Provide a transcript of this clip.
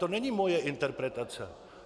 To není moje interpretace.